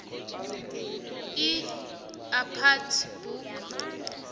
ii aphathe boke